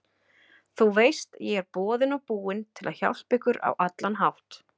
Þú veist ég er boðinn og búinn til að hjálpa ykkur á allan hátt.